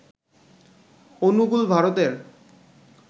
অনুগুল, ভারতের